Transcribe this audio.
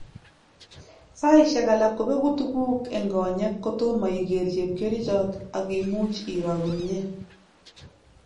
Saishek alak kobegu tuguk eng konyek ko tomo iger chepkerichot ak imuch iro komye